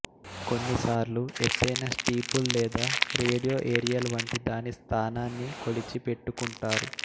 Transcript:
కొన్నిసార్లు ఎత్తైన స్టీపుల్ లేదా రేడియో ఏరియల్ వంటి దాని స్థానాన్ని కొలిచి పెట్టుకుంటారు